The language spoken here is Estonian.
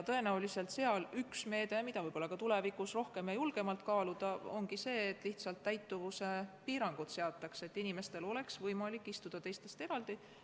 Tõenäoliselt üks meede, mida võiks ka tulevikus rohkem ja julgemalt kaaluda, ongi see, et seataks täituvuse piirangud, nii et inimestel oleks võimalik istuda teistest eraldi.